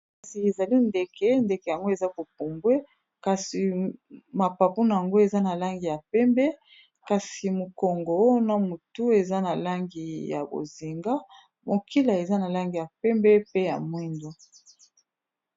kasi ezali ndeke ,ndeke yango eza kopumbwe kasi mapapu na yango eza na langi ya pembe kasi mokongo wana motu eza na langi ya bozinga mokila eza na langi ya pembe pe ya mwindo